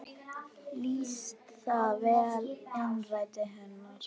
Lýsir það vel innræti hennar.